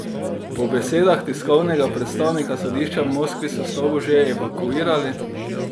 Po besedah tiskovnega predstavnika sodišča v Moskvi, so stavbo že evakuirali.